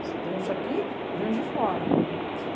Você tem uns daqui e vem uns de fora.